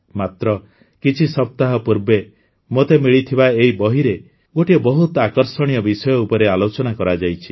ମାତ୍ର କିଛି ସପ୍ତାହ ପୂର୍ବେ ମୋତେ ମିଳିଥିବା ଏହି ବହିରେ ଗୋଟିଏ ବହୁତ ଆକର୍ଷଣୀୟ ବିଷୟ ଉପରେ ଆଲୋଚନା କରାଯାଇଛି